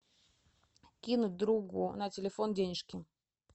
кинуть другу на телефон денежки